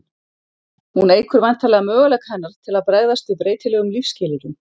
Hún eykur væntanlega möguleika hennar til að bregðast við breytilegum lífsskilyrðum.